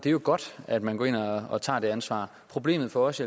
det er godt at man går ind og og tager det ansvar problemet for os